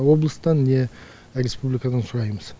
облыстан не республикадан сұраймыз